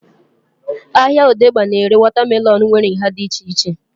Ahịa odegba na-ere wọta melọnu nwere nhá dị iche iche